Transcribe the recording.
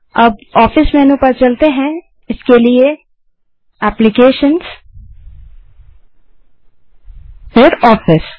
अब office menu पर चलते हैं एप्लीकेशंस gt ऑफिस